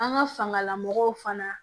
An ka fangalamɔgɔw fana